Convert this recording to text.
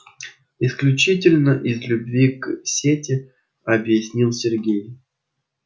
исключительно из любви к сети объяснил сергей